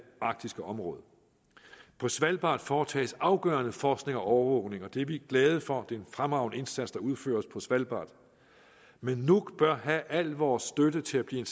arktiske område på svalbard foretages afgørende forskning og overvågning og det er vi glade for det er en fremragende indsats der udføres på svalbard men nuuk bør have al vores støtte til at blive